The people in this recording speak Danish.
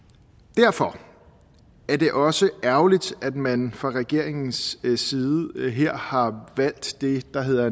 derfor er det også ærgerligt at man fra regeringens side her har valgt det der hedder